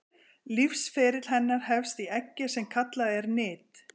lífsferill hennar hefst í eggi sem kallað er nit